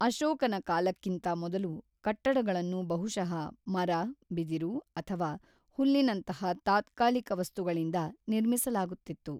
ಅಶೋಕನ ಕಾಲಕ್ಕಿಂತ ಮೊದಲು, ಕಟ್ಟಡಗಳನ್ನು ಬಹುಶಃ ಮರ, ಬಿದಿರು ಅಥವಾ ಹುಲ್ಲಿನಂತಹ ತಾತ್ಕಾಲಿಕ ವಸ್ತುಗಳಿಂದ ನಿರ್ಮಿಸಲಾಗುತ್ತಿತು.